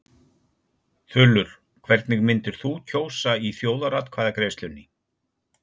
Þulur: Hvernig myndir þú kjósa í þjóðaratkvæðagreiðslunni?